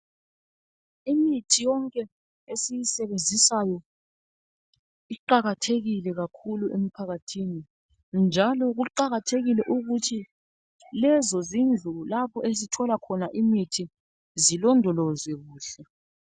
Imithi yonke esiyisebenzisayo, iwakayhekile kakhulu emphakathi. Njalo kuqakathekile ukuthi lezo zindlu lapho esithola khona imithi zilondolozwe kuhle.